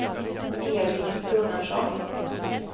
Erik Gunnarsson